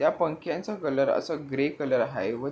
त्या पंख्यांचा कलर असा ग्रे कलर हाय व--